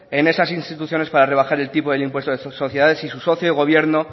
en esas instituciones para rebajar el tipo del impuesto de sociedad si su socio de gobierno